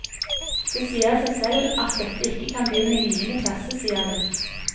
Det sier seg selv at dette ikke kan begynne i niende klasse, sier hun.